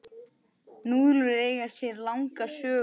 Núðlur eiga sér langa sögu.